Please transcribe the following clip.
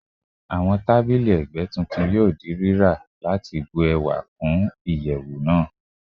Awọn tabili ẹgbẹ titun yoo ra lati jẹki ẹwa ti iyẹwu naa